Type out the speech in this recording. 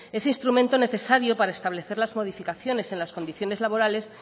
ese instrumento necesario para establecer las modificaciones en las condiciones laborales